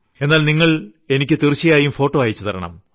എന്നാൽ നിങ്ങൾ എനിക്ക് തീർച്ചയായും ഫോട്ടോ അയച്ചുതരണം